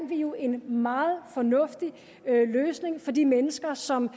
vi jo en meget fornuftig løsning for de mennesker som